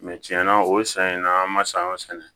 tiɲɛna o san in na an ma sayɔ sɛnɛ